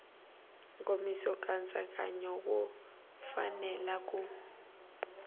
nkomiso nkatsakanyo wu fanele ku